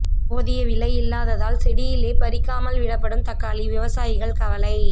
போதிய விலை இல்லாததால் செடியிலே பறிக்காமல் விடப்படும் தக்காளி விவசாயிகள் கவலை